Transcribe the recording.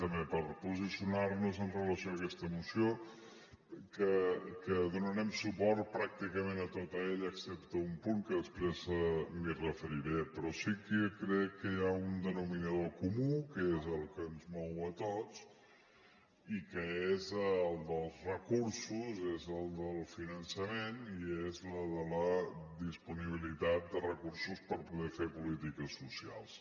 també per posicionar nos en relació amb aquesta moció que donarem suport pràcticament a tota ella excepte un punt que després m’hi referiré però sí que crec que hi ha un denominador comú que és el que ens mou a tots i que és el dels recursos és el del finançament i és el de la disponibilitat de recursos per poder fer polítiques socials